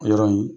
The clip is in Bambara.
O yɔrɔ in